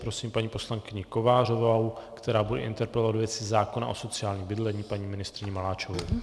Prosím paní poslankyni Kovářovou, která bude interpelovat ve věci zákona o sociálním bydlení paní ministryni Maláčovou.